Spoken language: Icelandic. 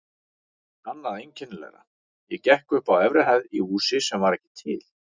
Annað einkennilegra: ég gekk upp á efri hæð í húsi sem var ekki til.